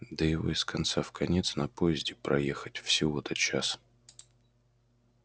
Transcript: да его из конца в конец на поезде проехать всего-то час